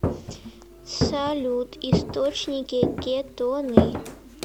салют источники кетоны